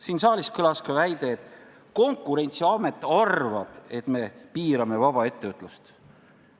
Siin saalis kõlas väide, et Konkurentsiamet arvab, et me piirame vaba ettevõtlust.